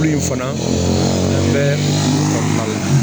Ko in fana bɛ malo